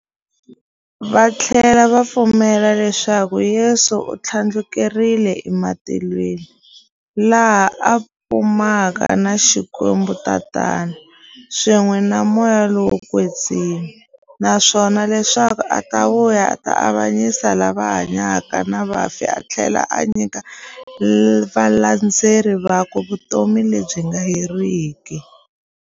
Vathlela va pfumela leswaku Yesu u thlandlukele ematilweni, laha a fumaka na Xikwembu-Tatana, swin'we na Moya lowo kwetsima, naswona leswaku u ta vuya a ta avanyisa lava hanyaka na vafi athlela a nyika valandzeri vakwe vutomi lebyi nga heriki.